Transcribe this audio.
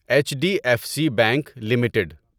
H D F C bank limited